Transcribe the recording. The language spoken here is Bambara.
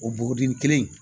O bɔgɔden kelen